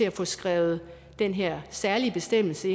at få skrevet den her særlige bestemmelse